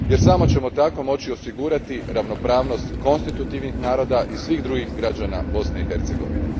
Samo ćemo tako moći osigurati ravnopravnost konstitutivnih naroda i svih drugih građana Bosne i Hercegovine.